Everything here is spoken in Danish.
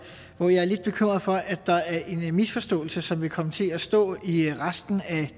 hvor jeg er lidt bekymret for at der er en misforståelse som vil komme til at stå i resten af